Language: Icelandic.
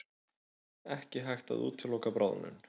Ekki hægt að útiloka bráðnun